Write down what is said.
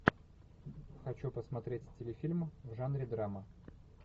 хочу посмотреть телефильм в жанре драма